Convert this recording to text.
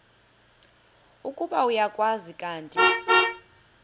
ukuba uyakwazi kanti